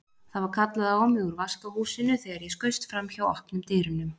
Það var kallað á mig úr vaskahúsinu þegar ég skaust framhjá opnum dyrunum.